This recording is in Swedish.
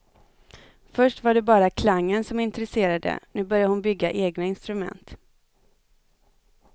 Först var det bara klangen som intresserade, nu börjar hon bygga egna instrument.